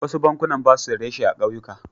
Wasu bankunan ba su da reshe a ƙauyuka.